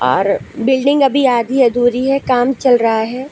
Are building अभी आधी अधूरी है काम चल रहा है।